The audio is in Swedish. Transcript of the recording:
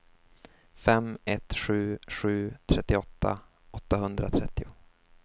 fem ett sju sju trettioåtta åttahundratrettio